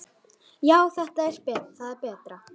Já, það er betra.